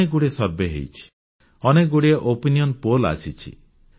ଅନେକଗୁଡ଼ିଏ ସର୍ଭେ ହୋଇଛି ଅନେକଗୁଡ଼ିଏ ଜନମତ ସର୍ଭେ ବା ଓପିନିୟନ ପୋଲ୍ ଆସିଛି